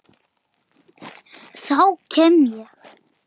Þá kem ég